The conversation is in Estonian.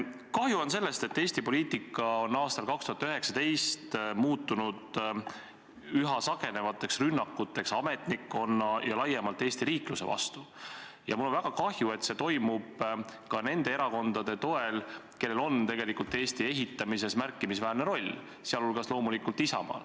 Kahju on sellest, et Eesti poliitika on aastal 2019 muutunud üha sagenevateks rünnakuteks ametnikkonna ja laiemalt Eesti riikluse vastu, ja mul on väga kahju, et see toimub ka nende erakondade toel, kellel on tegelikult Eesti ehitamises märkimisväärne roll, sh loomulikult Isamaa.